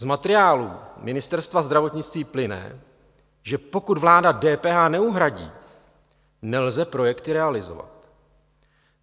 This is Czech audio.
Z materiálů Ministerstva zdravotnictví plyne, že pokud vláda DPH neuhradí, nelze projekty realizovat.